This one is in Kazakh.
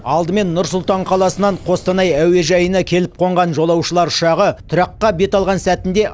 алдымен нұр сұлтан қаласынан қостанай әуежайына келіп қонған жолаушылар ұшағы тұраққа бет алған сәтінде